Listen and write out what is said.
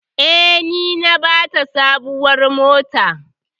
Eh, ni na bata sabuwar mota.